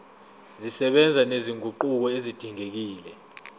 zisebenza nezinguquko ezidingekile